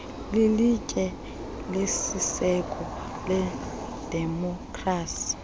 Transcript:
lilitye lesiseko ledemokhrasi